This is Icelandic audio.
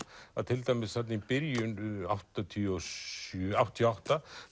að til dæmis þarna í byrjun áttatíu og sjö áttatíu og átta